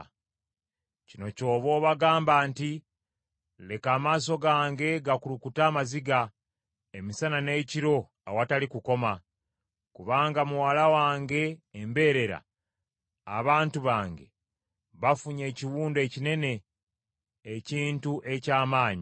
“Kino ky’oba obagamba nti, “ ‘Leka amaaso gange gakulukute amaziga emisana n’ekiro awatali kukoma; kubanga muwala wange embeerera, abantu bange, bafunye ekiwundu ekinene, ekintu eky’amaanyi.